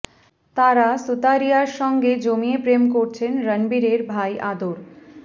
তারা সুতারিয়ার সঙ্গে জমিয়ে প্রেম করছেন রণবীরের ভাই আদর